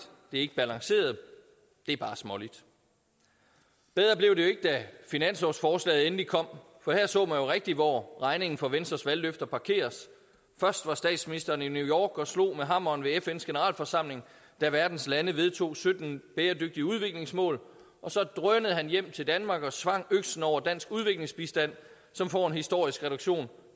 det er ikke balanceret det er bare småligt bedre blev det jo ikke da finanslovsforslaget endelig kom for her så man jo rigtig hvor regningen for venstres valgløfter parkeres først var statsministeren i new york og slog med hammeren ved fns generalforsamling da verdens lande vedtog sytten bæredygtige udviklingsmål og så drønede han hjem til danmark og svang øksen over dansk udviklingsbistand som får en historisk reduktion